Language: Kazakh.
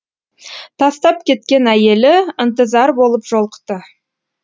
тастап кеткен әйелі ынтызар болып жолықты